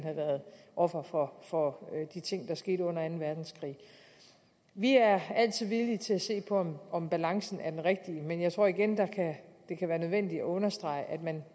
offer for for de ting der skete under anden verdenskrig vi er altid villige til at se på om balancen er den rigtige men jeg tror igen det kan være nødvendigt at understrege at man